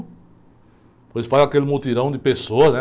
Depois faz aquele mutirão de pessoas, né?